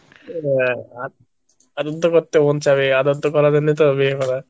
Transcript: করতে মন চাইবে, করার জন্যই তো বিয়ে করা।